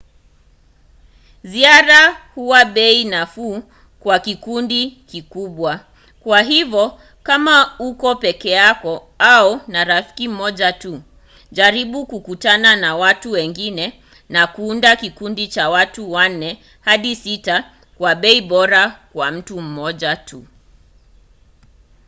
ziara huwa bei nafuu kwa vikundi vikubwa kwa hivyo kama uko peke yako au na rafiki mmoja tu jaribu kukutana na watu wengine na kuunda kikundi cha watu wanne hadi sita kwa bei bora kwa mtu mmoja